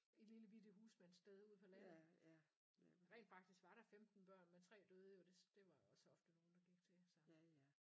I et lille bitte husmandssted ude på landet rent faktisk var der 15 børn men 3 døde jo des det var også ofte nogle der gik til så